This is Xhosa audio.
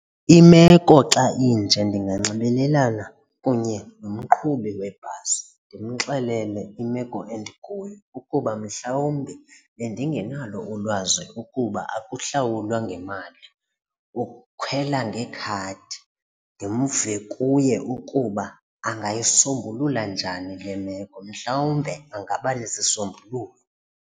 Imeko xa inje ndinganxibelelana kunye nomqhubi webhasi ndimxelele imeko endikuyo ukuba mhlawumbi bendingenalo ulwazi ukuba ukuhlawulwa ngemali, ukhwela ngekhadi, ndimve kuye ukuba ungayisombulula njani le meko. Mhlawumbe angabanesisombululo.